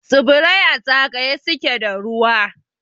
Tsibirai a zagaye suke da ruwa.